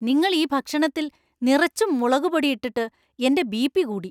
നിങ്ങൾ ഈ ഭക്ഷണത്തിൽ നിറച്ചും മുളകുപൊടി ഇട്ടിട്ടു എന്‍റെ ബി.പി കൂടി.